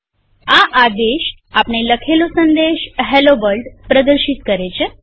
આ આદેશ આપણે લખેલો સંદેશHello વર્લ્ડ પ્રદર્શિત કરે છે